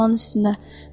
tökərdim paxlanın üstünə.